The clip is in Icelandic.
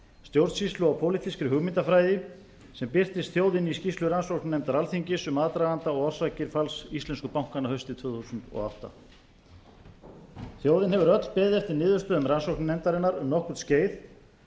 stjórnsýslu og pólitískri hugmyndafræði sem birtist þjóðinni í skýrslu rannsóknarnefndar alþingis um aðdraganda og orsakir falls íslensku bankanna haustið tvö þúsund og átta þjóðin hefur öll beðið eftir niðurstöðum rannsóknarnefndarinnar um nokkurt skeið